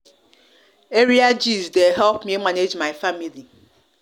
area gist dey help me manage my family